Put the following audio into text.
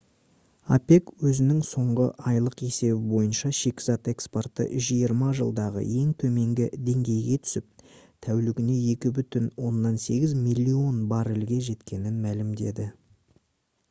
опек өзінің соңғы айлық есебі бойынша шикізат экспорты жиырма жылдағы ең төменгі деңгейге түсіп тәулігіне 2,8 миллион баррельге жеткенін мәлімдеді